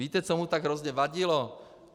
Víte, co mu tak hrozně vadilo?